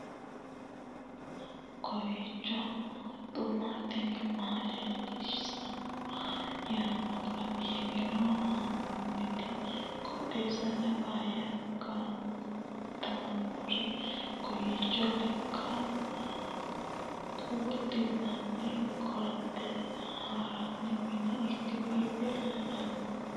kowiicho xuma mtini maa xawissanno yaannohura biifinse haa'noonniti qooxeessano faayya kultannori kowiicho lekate wodhinanni koatte hirranni mine ikke biife leellanno